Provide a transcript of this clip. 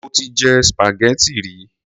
Mo ti jẹ spaghetti rí.